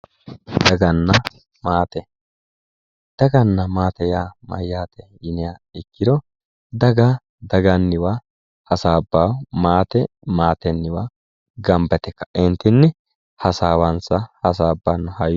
Daganna maate, daganna maate yaa mayate yinniha ikkiro daga daganniwa hasaabbano ,maate maatenniwa gamba yte kae kaentinni hasaawansa hasaabbano, hayyo.